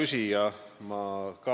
Hea küsija!